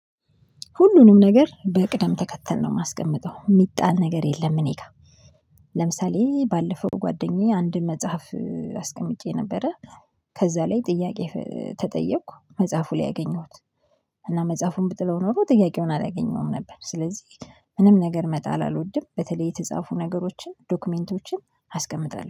ሁሉንም ነገር በቅደም ተከተል ነው የማስቀምጠው የሚጣል ነገር የለም እኔ ጋር። ለምሳሌ ባለፈው ጓደኛዬ አንድ መጽሐፍ አስቀምጬ ነበረ። ከዛ ላይ ጥያቄ ተጠየኩ መጽሐፉ ላይ አገኘሁት። እና መጽሐፉን ብጥለው ኖሮ ጥያቄውን አላገኘሁም ነበር ስለዚህ ምንም ነገር መጣል አልወድም። በተለይ የተጻፉ ነገሮችን ዶክመንቶችን አስቀምጣለሁ